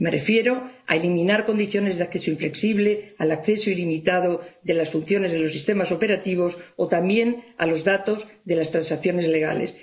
Me refiero a eliminar condiciones de acceso inflexible, al acceso ilimitado de las funciones de los sistemas operativos o también a los datos de las transacciones legales.